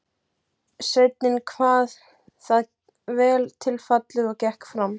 Sveinninn kvað það vel til fallið og gekk fram.